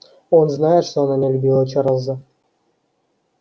он знает что она не любила чарлза